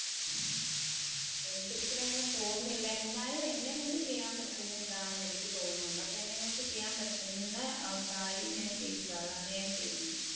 എനിക്കൊരിക്കലും അങ്ങനെ തോന്നുന്നില്ല. എന്നാലും എന്നെ കൊണ്ട് ചെയ്യാൻ പറ്റുന്നത് ഇതാണെന്ന് എനിക്ക് തോന്നുന്നുണ്ട് അപ്പൊ എന്നെ കൊണ്ട് ചെയ്യാൻ പറ്റുന്ന കാര്യം ഞാൻ ചെയ്യുക അതാണ് ഞാൻ ചെയ്യുന്നത്.